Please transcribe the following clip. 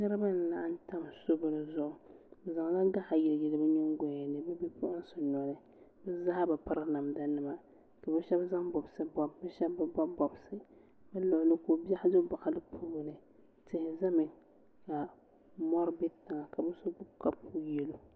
niriba n laɣim tami zibiligu bɛ zaŋ la gaɣili yɛli bɛ nyɛgayani bɛ puɣimsi noli be zaa be pɛri namida nima ka bi shɛbi be bɔbi bɔbisi ka ko bɔɣim so bɔɣili puuni tihi zami ka mori bɛ tiŋa ka bi so gbabi kapu yɛlo